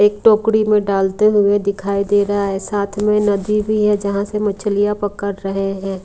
एक टोकड़ी में डालते हुए दिखाई दे रहा है साथ में नदी भी है जहां से मछलियां पकड़ रहे हैं।